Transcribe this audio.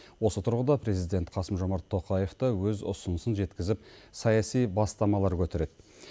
осы тұрғыда президент қасым жомарт тоқаев та өз ұсынысын жеткізіп саяси бастамалар көтереді